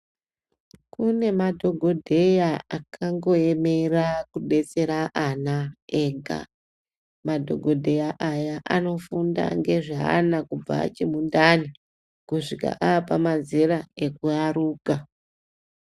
Kune madhokodheya akango yemera kudetsera ana ega madhokodheya aya anofunda ngezveana kubva achi mundani